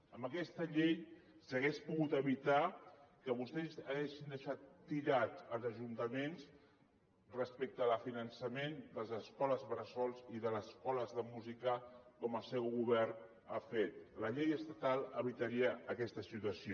amb aquesta llei s’hauria pogut evitar que vostès haguessin deixat tirats els ajuntaments respecte al finançament de les escoles bressol i de les escoles de música com el seu govern ha fet la llei estatal evitaria aquesta situació